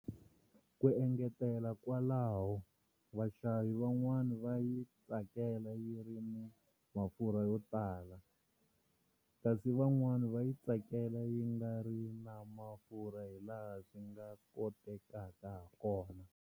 Ku engetela kwalaho, vaxavi van'wana va yi tsakela yi ri ni mafurha yo tala, kasi van'wana va yi tsakela yi nga ri na mafurha hilaha swi nga kotekaka hakona.